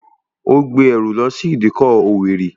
Ó gbé ẹrù lọ sí ìdíkọ̀ òwèrì